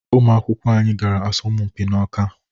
Ụmụ akwụkwọ anyị gara asọmpi n’Ọká